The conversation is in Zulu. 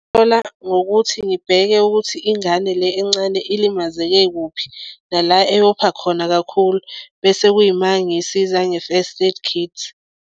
Ngokuthi ngibheke ukuthi ingane le encane ilimazeke kuphi nala eyopha khona kakhulu bese kuyima ngisiza nge-first aid kit.